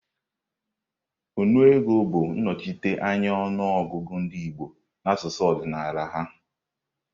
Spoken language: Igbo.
Nnu ego bụ nnochite anya ọnụ ọgụgụ ndị Igbo n'asụsụ ọdịnala ha.